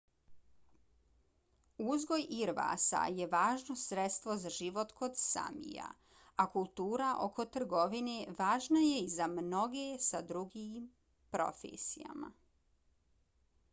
uzgoj irvasa je važno sredstvo za život kod samija a kultura oko trgovine važna je i za mnoge sa drugim profesijama